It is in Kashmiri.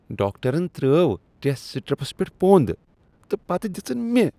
ڈاکٹرن ترٲو ٹیسٹ سٹرپس پیٹھ پۄند تہ پتہ دِژن مےٚ۔